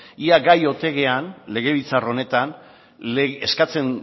ea gai ote garen legebiltzar honetan eskatzen